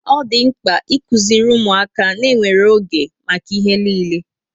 Ọ dị mkpa ịkuziri ụmụaka ná enwere oge maka ihe niile